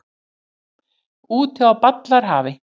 Úti á ballarhafi.